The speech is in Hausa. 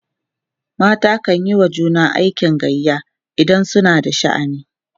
mata kanyi wa juna aikin gayya idan suna da sha'ani